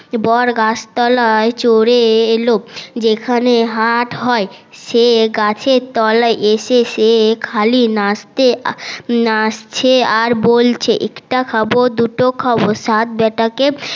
বড গাছ তলায় চলে এলো যেখানে হাট হয় সে গাছের তলায় এসে সে খালি নাচতে নাচছে আর বলছে একটা খাবো দুটা খাবো সাত বেটা কে